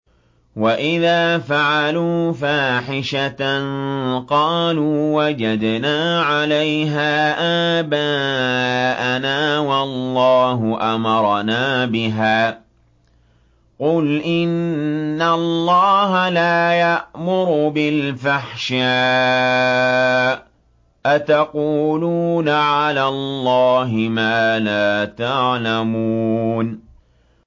وَإِذَا فَعَلُوا فَاحِشَةً قَالُوا وَجَدْنَا عَلَيْهَا آبَاءَنَا وَاللَّهُ أَمَرَنَا بِهَا ۗ قُلْ إِنَّ اللَّهَ لَا يَأْمُرُ بِالْفَحْشَاءِ ۖ أَتَقُولُونَ عَلَى اللَّهِ مَا لَا تَعْلَمُونَ